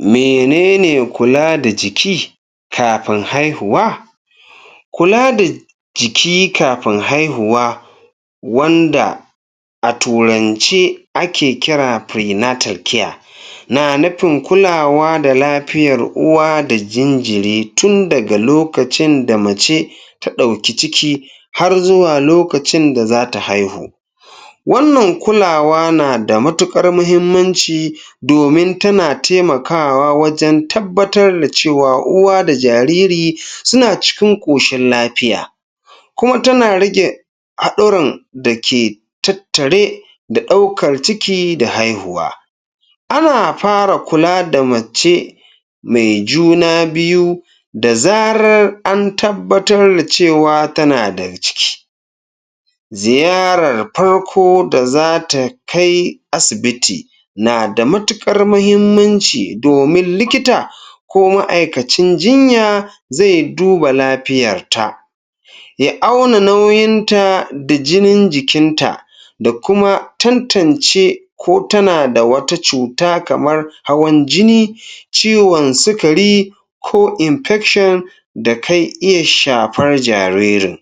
Mene ne kula da jiki kafin haihuwa? Kula da jiki kafin haihuwa wanda a Turance ake kira pre-natal care na nufin kulawa da lafiyar uwa da jinjiri run daga lokacin da mace ta ɗauki ciki har zuwa lokacin da za ta haihu. Wannan kulawa na da matuƙar muhimmanci domin tana taimakawa wajen tabbatar da cewa uwa da jariri suna cikin ƙoshin lafiya. Kuma tana rage haɗɗuran da ke tattare da ɗaukar ciki da haihuwa Ana fara kula da macce mai juna biyu da zarar an tabbatar da cewa tana da ciki. Ziyarar farko da za ta kai asibiti na da matuƙar muhimmanci domin likita ko ma'aikacin jinya zai duba lafiyarta. ya auna nauyinta da jinin jikinta dfa kuma tantance ko tana da wata cuta kamar hawan jini ciwon sukari ko infeshin da kan iya shafar jaririn.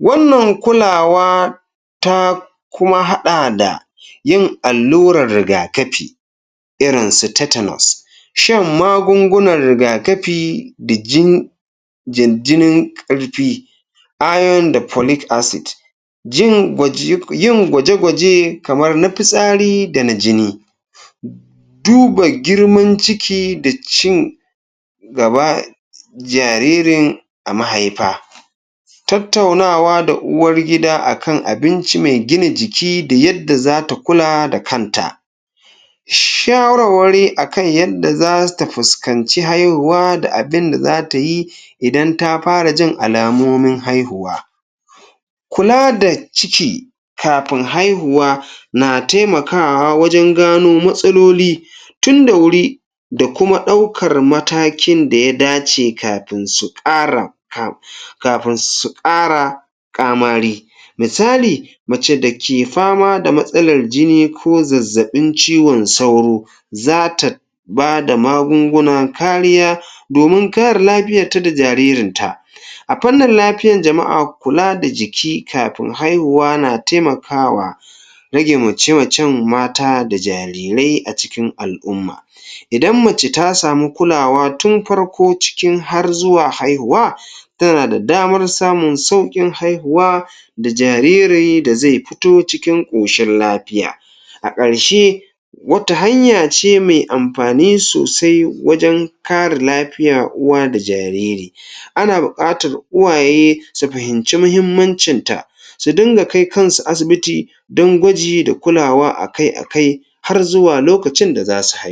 Wannan kulawa ta kuma haɗa da yin allurar riga-kafi irin su tetanas Shan magungunan riga-kafi da jin, da jinin ƙarfi, iron da folic acid jin gwaj, yin gwaje-gwaje kamar na fitsari da na jini duba girman ciki da cin gaba jaririn a mahaifa Tttaunawa da uwargida a kan abinci mai gina jiki da yadda za ta kula da kanta. Shawarwari a kan yadda za ta fuskanci haihuwa da abin da za ta yi idan ta fara jin alamomin haihuwa. Kula da ciki kafin haihuwa na taimakawa wajen gano matsaloli tun da wuri da kuma ɗaukar matakin da ya dace kafin su ƙara ƙamari. Misali, Mace da ke fama da matsalar jini ko zazzaɓin ciwon saura za ta ba da magungunan kariya domin kare lafiyarta da jaririnta. A fannin lafiyar jama'a kula da jiki kafin haihuwa na taimakawa rage mace-macen mata da jarirai a cikin al'umma. Idan mace ta samu kulawa tun farko cikin har zuwa haihuwa tana da damar samun sauƙin haihuwa da jariri da zai fito cikin ƙoshin lafiya. A ƙarshe, Wata hanya ce mai amfani sosai wajen kare lafiya uwa da jariri, ana buƙatar uwaye su fahimci muhimmancinta su dinga kai kansu asibiti don gwaji da kulawa a kai a kai har zuwa lokacin da za su haihu.